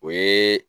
O ye